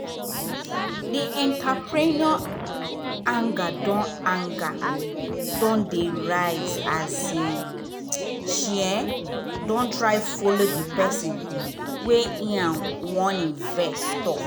the entrepreneur anger don anger don dey rise as um she um dey try follow the pesin wey and um wan invest talk.